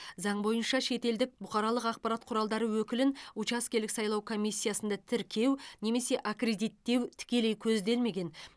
заң бойынша шетелдік бұқаралық ақпарат құралдары өкілін учаскелік сайлау комиссиясында тіркеу немесе аккредиттеу тікелей көзделмеген